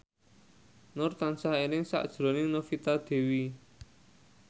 Nur tansah eling sakjroning Novita Dewi